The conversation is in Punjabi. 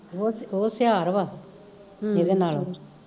ਓ ਓ ਸਿਆਰ ਵਾ ਏਦੇ ਨਾਲੋਂ